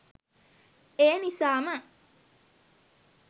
ඒ නිසාම